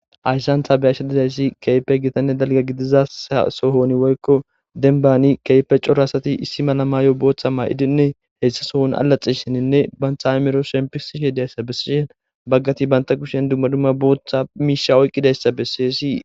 Haysan ta be'ashe dizaysi kehipe gitane dalga gidiza sa sohon woyko demban kehippe c'ora asati issi mala mayo botha ma'idine issi sohoni alaxishinine banta a'imro shempisishe diyaysa beses bagati banta kusheni duma duma botha misha oyqidaysa beses.